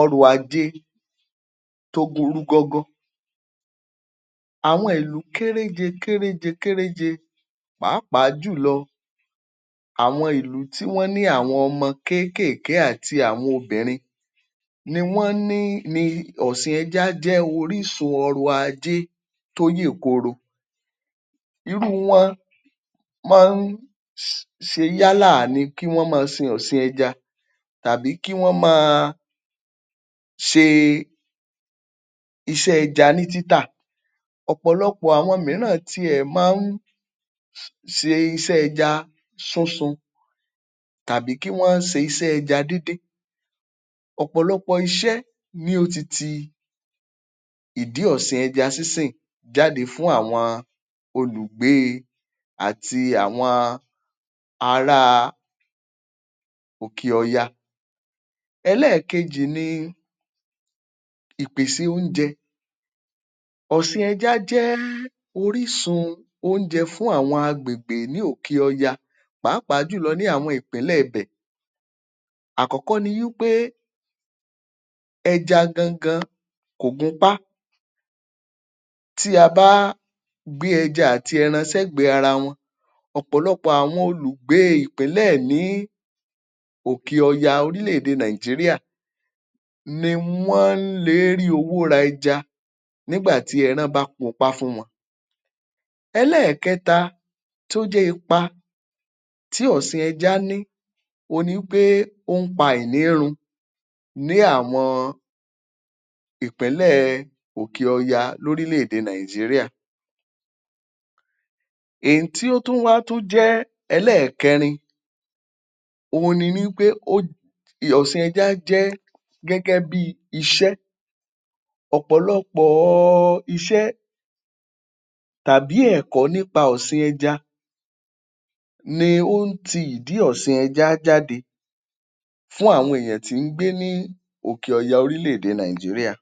ọrọ̀ ajé tó burú gọ́gọ́. Àwọn ìlú kéréje kéréje pàápàá jùlọ àwọn ìlú tí wọ́n ní àwọn ọmọ kéékèèké àti àwọn obìnrin ni wọ́n ní ni ọ̀sìn ẹja jẹ́ orísun ọrọ̀ ajé tó yè kooro. Irú wọ́n máa ń ṣe kí wọ́n máa ṣe ọ̀sìn ẹja tàbí kí wọ́n máa ṣe iṣẹ́ ẹja ní títà. Ọ̀pọ̀lọpọ̀ àwọn míràn ti ẹ̀ máa ń ṣe iṣẹ́ ẹja súnsun tàbí kí wọ́n se iṣẹ́ ẹja díndín. Ọ̀pọ̀lọpọ̀ iṣẹ́ ni ó ti ti ìdí ọsìn ẹja sínsìn jáde fún àwọn olùgbée àti àwọn aráa òkè ọya. Ẹlẹ́ẹ̀kejì ni ìpèsè oúnjẹ. Ọ̀sìn ẹja jẹ́ orísun oúnjẹ fún àwọn àgbègbè ní òkè ọya pàápàá jùlọ ní àwọn ìpínlẹ̀ bẹ̀. Àkọ́kọ́ ni wí pé, ẹja gangan kò gunpá. Tí a bá gbé ẹja àti ẹran sẹ́gbẹ̀ẹ́ ara wọn, ọ̀pọ̀lọpọ̀ àwọn olùgbè ìpínlẹ̀ ní òkè ọya orílẹ̀-èdè Nigeria ni wọ́n le é rí owó ra ẹja nígbà tí ẹran bá kunpá fún wọn. Ẹlẹ́ẹ̀kẹta tó jẹ́ ipa tí ọ̀sìn ẹja ní òhun ni wí pé ó ń pa àìní run ní àwọn ìpínlẹ̀ òkè ọya lórílẹ̀-èdè Nigeria. È ń tí ó tún wá tún jẹ́ ẹlẹ́ẹ̀kẹrin òhun ni wí pé ó, ọ̀sìn ẹja jẹ́ gẹ́gẹ́ bí iṣẹ́. Ọ̀pọ̀lọpọ̀ọ iṣẹ́ tàbí ẹ̀kọ́ nípa ọ̀sìn ẹja ni ó ń ti ìdí ọ̀sìn ẹja jáde fún àwọn èèyàn tí ń gbé ní òkè ọya orílẹ̀-èdè Nigeria.